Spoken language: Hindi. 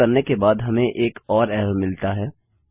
इसको करने के बाद हमें एक और एरर मिलता है